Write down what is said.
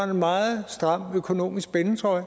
meget stram økonomisk spændetrøje